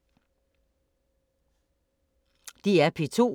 DR P2